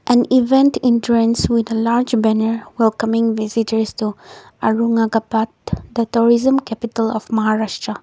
an event entrance with a large banner welcome coming visit to aurangabad that origin capital of maharashtra